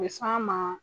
A bɛ s'an ma